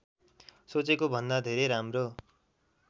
सोचेको भन्दा धेरै राम्रो